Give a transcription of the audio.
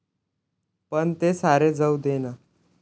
पण ते सारे जाऊ दे ना.